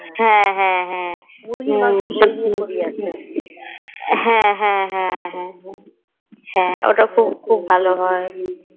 হ্যাঁ হ্যাঁ হ্যাঁ হ্যাঁ হ্যাঁ হ্যাঁ হ্যাঁ ওটা খুব ভালো হয়ে